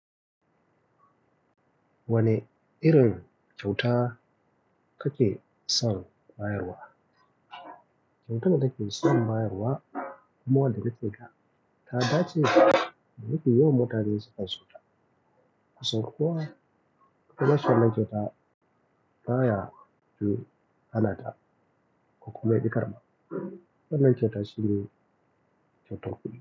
Wane irin kyauta take son bayarwa? Kyautar da take son bayarwa kuma wanda zai cika ta, ta dace da shi. Yanzu yawon mota ne sai kyauta. A sorko wa, kuma shan naijota baya ju hana ta, ko kuma ya bi ƙarama. Wannan ke tasiri.